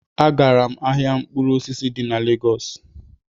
Agara m ahịa mkpụrụ osisi dị na Lagos